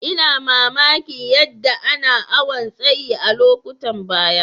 N'na mamaki yadda ana awon tsayi a'lokutan baya.